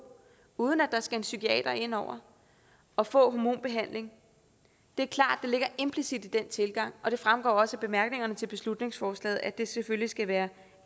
uden at der skal en psykiater ind over og få hormonbehandling det er klart ligger implicit i den tilgang og det fremgår også af bemærkningerne til beslutningsforslaget at det selvfølgelig skal være